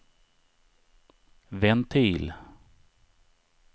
ventil